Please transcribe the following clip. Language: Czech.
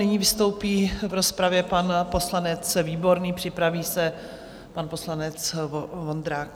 Nyní vystoupí v rozpravě pan poslanec Výborný, připraví se pan poslanec Vondrák.